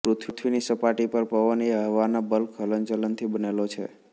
પૃથ્વીની સપાટી પર પવન એ હવાના બલ્ક હલનચલનથી બનેલો છે